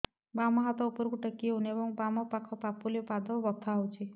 ବାମ ହାତ ଉପରକୁ ଟେକି ହଉନି ଏବଂ ବାମ ପାଖ ପାପୁଲି ଓ ପାଦ ବଥା ହଉଚି